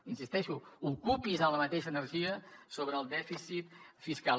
hi insisteixo ocupi’s amb la mateixa energia sobre el dèficit fiscal